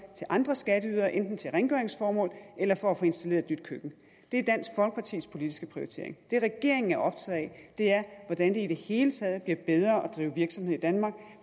til andre skatteydere enten til rengøringsformål eller for at få installeret et nyt køkken det er dansk folkepartis politiske prioritering det regeringen er optaget af er hvordan det i det hele taget bliver bedre at drive virksomhed i danmark